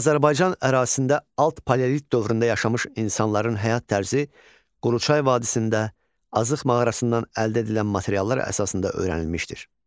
Azərbaycan ərazisində alt paleolit dövründə yaşamış insanların həyat tərzi Quruçay vadisində, Azıq mağarasından əldə edilən materiallar əsasında öyrənilmişdir.